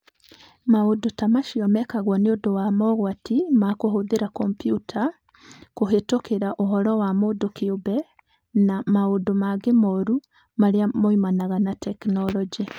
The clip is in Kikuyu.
Maũndũ ta macio mekagwo nĩ ũndũ wa mogwati ma kũhũthĩra kompiuta, kũhĩtũkĩra ũhoro wa mũndũ kĩũmbe, na maũndũ mangĩ moru marĩa moimanaga na tekinolonjĩ.